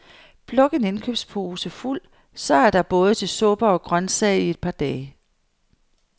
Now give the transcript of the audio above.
Pluk en indkøbspose fuld, så er der både til suppe og grøntsag i et par dage.